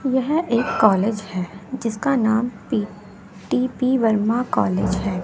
यह एक कॉलेज है जिसका नाम पी टी_पी वर्मा कॉलेज है।